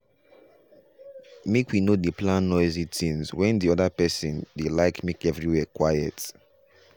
make we no dey plan noisy things when the other person dey like make everywhere quiet.